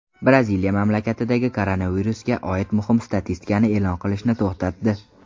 Braziliya mamlakatdagi koronavirusga oid muhim statistikani e’lon qilishni to‘xtatdi.